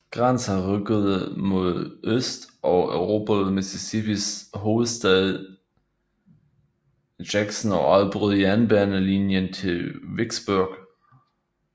Grants hær rykkede mod øst og erobrede Mississippis hovedstad Jackson og afbrød jernbanelinjen til Vicksburg